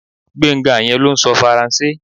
Gbénga yẹn ló ń sọ Faransé